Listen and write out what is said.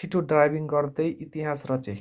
छिटो ड्राइभिङ गर्दै इतिहास रचे